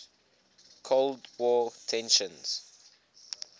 cold war tensions